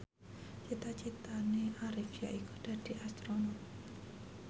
cita citane Arif yaiku dadi Astronot